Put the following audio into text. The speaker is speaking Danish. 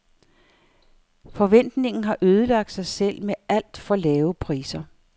Forretningen har ødelagt sig selv med alt for lave priser.